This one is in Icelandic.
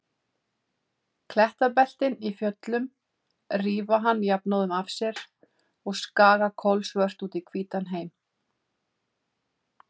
Klettabeltin í fjöllunum rífa hann jafnóðum af sér og skaga kolsvört út í hvítan heim.